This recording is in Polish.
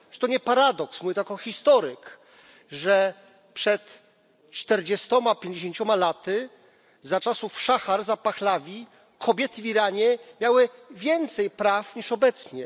Czy to nie paradoks mówię to jako historyk że przed czterdziestoma, pięćdziesięcioma laty, za czasów szacha Rezy Pahlawiego, kobiety w Iranie miały więcej praw niż obecnie.